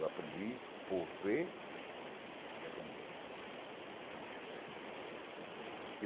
Eu aprendi por ver e aprender.